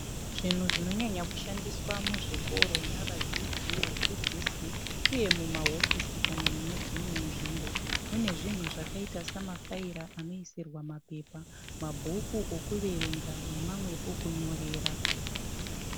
Zvinhu zvinonya kushandiswa muzvikoro navadzidzi vadzidzisi uye mumahofisi kana mune dzimwewo nzvimbo. Mune zvinhu zvakaita samafaira anoisirwa mapepa mabhuku okuverenga nenamwe okunyorera.